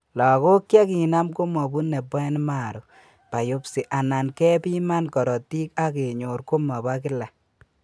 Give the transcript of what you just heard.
Lagok chekinam komobune boen marrow biopsy anan kepiman korotik akenyor komabo kila